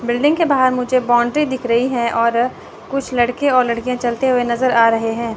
Building के बाहर मुझे बौंडरी दिख रही है और कुछ लड़के और लड़कियां चलते हुए नजर आ रहे हैं।